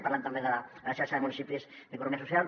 parlen també de la xarxa de municipis d’economia social